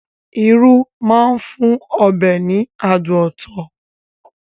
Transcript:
Irú máa ń fún ọbẹ̀ ní adùn ọtọ̀